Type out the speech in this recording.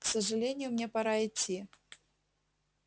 к сожалению мне пора идти